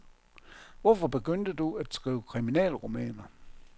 Hvorfor begyndte du at skrive kriminalromaner?